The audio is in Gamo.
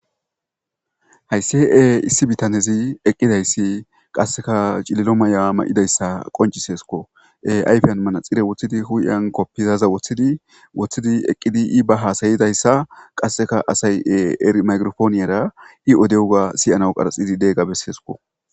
Haysi issi bitanezi eqidaysi qaseka cililo Maya mayidaysa qonciseseko,ayfen manaxire wothidi hu'en kopiyaza wothidi eqid I ba hasa'izaysa qaseka asay maygiraponiyara I odiyoga siyanawu qaraxidi diyoga besesko.